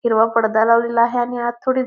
हिरवा पडदा लावलेला आहे आणि आत थोडेच--